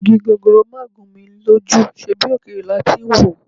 Igi gogoro máà gún mi lójú, ṣebí òkèèrè la ti ń wòó?